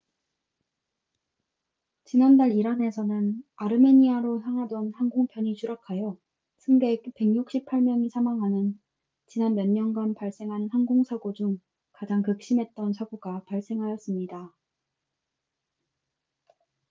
지난달 이란에서는 아르메니아로 향하던 항공편이 추락하여 승객 168명이 사망하는 지난 몇 년간 발생한 항공 사고 중 가장 극심했던 사고가 발생하였습니다